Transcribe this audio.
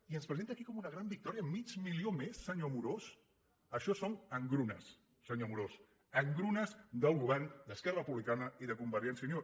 i ens presenta aquí com una gran victòria mig milió més senyor amorós això són engrunes senyor amorós engrunes del govern d’esquerra republicana i de convergència i unió